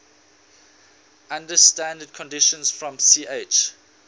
under standard conditions from ch